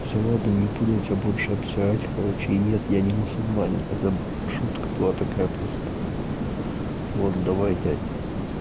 всё ладно не буду тебя больше обсирать короче и нет я не мусульманин это шутка была такая просто вот давай дядь